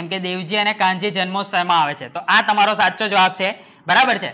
એમ દેવજી અને કાનજી જન્મોત્સવ માં આવે છે તો આ તમારું સાચો જવાબ છે બરાબર ને